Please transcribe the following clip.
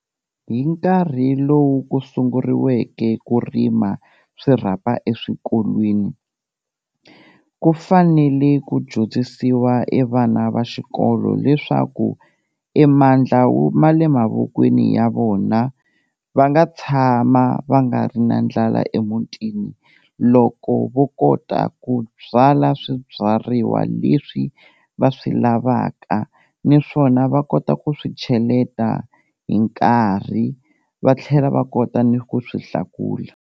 Hi nkarhi lowu ku sunguriweke ku rima swirhapa eswikolweni, ku fanele ku dyondzisiwa e vana va xikolo leswaku e mandla wu ma le mavokweni ya vona va nga tshama va nga ri na ndlala emutini loko vo kota ku byala swi byariwa leswi va swi lavaka, niswona va kota ku swi cheleta hi nkarhi va tlhela va kota ni ku swi hlakula.